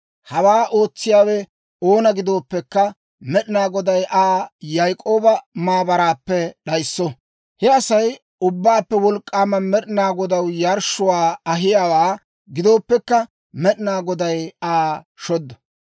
Hawaa ootsiyaawe oona gidooppekka, Med'ina Goday Aa Yaak'ooba maabaraappe d'ayisso; he Asay Ubbaappe Wolk'k'aama Med'ina Godaw yarshshuwaa ahiyaawaa gidooppekka, Med'ina Goday Aa shoddo.